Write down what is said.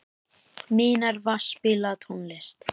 Minerva, spilaðu tónlist.